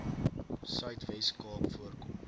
suidwes kaap voorkom